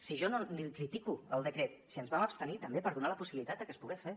si jo no l’hi critico el decret si ens vam abstenir també per donar la possibilitat de que es pogués fer